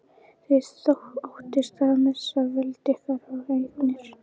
Þið óttist að missa völd ykkar og eignir.